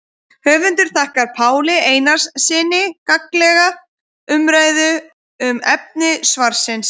Höfundur þakkar Páli Einarssyni gagnlega umræðu um efni svarsins.